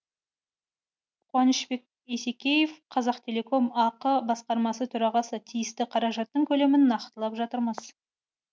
қуанышбек есекеев қазақтелеком ақ басқарма төрағасы тиісті қаражаттың көлемін нақтылап жатырмыз